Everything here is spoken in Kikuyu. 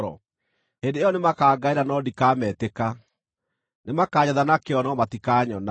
“Hĩndĩ ĩyo nĩmakangaĩra, no ndikametĩka; nĩmakanjetha na kĩyo, no matikanyona.